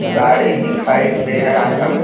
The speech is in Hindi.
गाड़ी दिखाई दे रहा है।